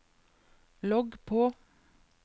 logg på